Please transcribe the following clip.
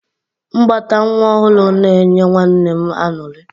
Mbata nwa ọhụrụ na-enye nwanne m aṅụrị.